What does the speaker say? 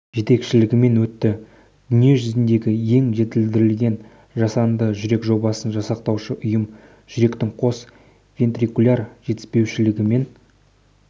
жетекшілігімен өтті дүние жүзіндегі ең жетілдірілген жасанды жүрек жобасын жасақтаушы ұйымы жүректің қос вентрикуляр жетіспеушілігімен